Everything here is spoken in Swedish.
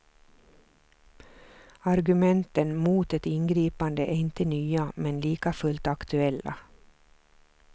Argumenten mot ett ingripande är inte nya men likafullt aktuella.